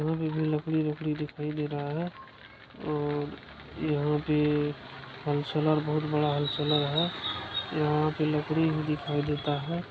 यहाँ भी भी लकड़ी लकड़ी दिखाई दे रहा है और यहाँ पे व्होलसेलर बहुत बड़ा व्होलसेलर है। यहाँ पर लकड़ी भी दिखाई देता है।